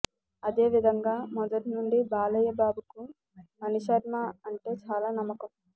అదే విధంగా మొదటి నుండి బాలయ్య బాబుకు మణిశర్మ అంటే చాలా నమ్మకం